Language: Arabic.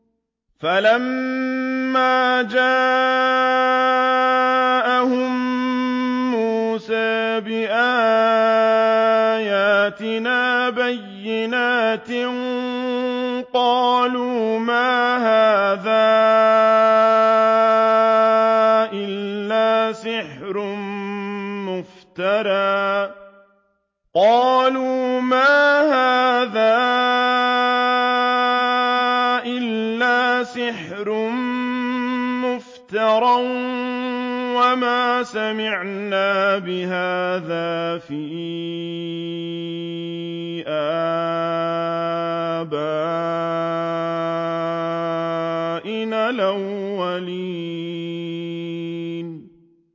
فَلَمَّا جَاءَهُم مُّوسَىٰ بِآيَاتِنَا بَيِّنَاتٍ قَالُوا مَا هَٰذَا إِلَّا سِحْرٌ مُّفْتَرًى وَمَا سَمِعْنَا بِهَٰذَا فِي آبَائِنَا الْأَوَّلِينَ